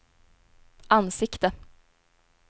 ansikte